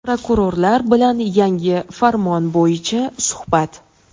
Prokurorlar bilan yangi farmon bo‘yicha suhbat.